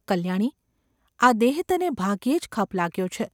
‘કલ્યાણી ! આ દેહ તને ભાગ્યે જ ખપ લાગ્યો છે.